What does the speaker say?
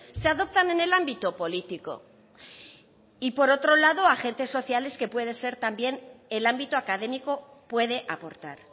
se adoptan en el ámbito político y por otro lado agentes sociales que puede ser también el ámbito académico puede aportar